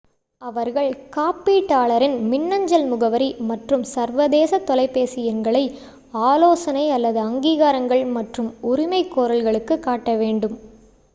அவர்கள் காப்பீட்டாளரின் மின்னஞ்சல் முகவரி மற்றும் சர்வதேச தொலைபேசி எண்களை ஆலோசனை / அங்கீகாரங்கள் மற்றும் உரிமைகோரல்களுக்கு காட்ட வேண்டும்